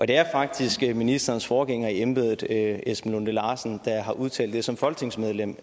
det er faktisk ministerens forgænger i embedet esben lunde larsen der har udtalt det her som folketingsmedlem